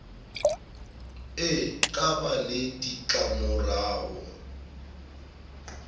e ka ba le ditlamorao